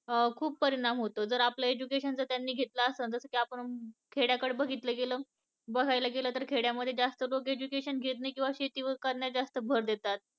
खूप परिणाम होतो जर आपल education जर त्यांनी घेतल आसन जस की आपण खेड्याकडे बघितल गेल बघायला गेल तर खेड्यामद्धे जास्त लोक education घेत नाहीत किंवा शेती वर करण्यात जास्त भर देतात